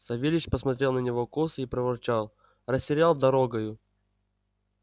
савельич посмотрел на него косо и проворчал растерял дорогою